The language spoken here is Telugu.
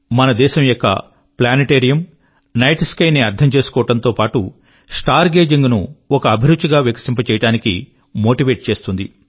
మన దేశం యొక్క ప్లానెటేరియం నైట్ స్కై ని అర్థం చేసుకోవడం తో పాటు స్టార్ గేజింగ్ ను ఒక అభిరుచి గా వికసింప చేయడానికి మోటీవేట్ చేస్తుంది